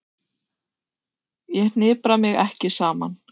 Ég hnipra mig ekki saman.